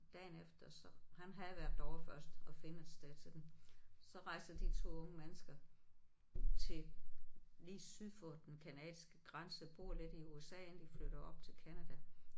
Dagen efter så han havde været derovre først og finde et sted til dem. Så rejser de 2 unge mennesker til lige syd for den canadiske grænse bor lidt i USA inden de flytter op til Canada